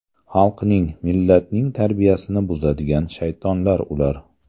Xalqning, millatning tarbiyasini buzadigan shaytonlar ular.